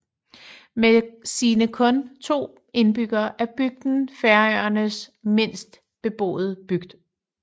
Med sine kun to indbyggere er bygden Færøernes mindste beboede bygd